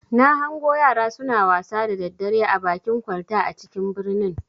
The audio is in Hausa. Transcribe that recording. Na hango yara suna wasa da daddare a bakin kwalta a cikin birnin.